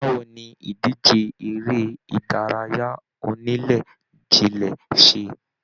Báwo ní ìdíje eré ìdárayá onílé jile se?